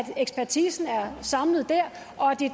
at ekspertisen er samlet